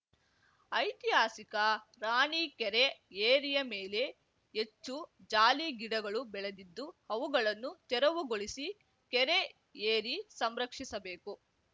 ಐತಿಹಾಸಿಕ ರಾಣಿಕೆರೆ ಏರಿಯ ಮೇಲೆ ಹೆಚ್ಚು ಜಾಲಿ ಗಿಡಗಳು ಬೆಳೆದಿದ್ದು ಅವುಗಳನ್ನು ತೆರವುಗೊಳಿಸಿ ಕೆರೆ ಏರಿ ಸಂರಕ್ಷಿಸಬೇಕು